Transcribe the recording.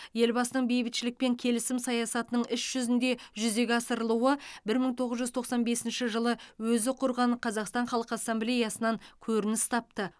елбасының бейбітшілік пен келісім саясатының іс жүзінде жүзеге асырылуы бір мың тоғыз жүз тоқсан бесінші жылы өзі құрған қазақстан халқы ассамблеясынан көрініс тапты